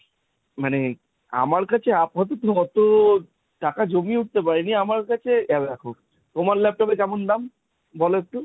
মানে আমার কাছে আপাতত অত টাকা জমিয়ে উঠতে পারি নি , আমার কাছে এ দেখো, তোমার laptop এর কেমন দাম? বোলো একটু?